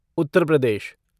Uttar Pradesh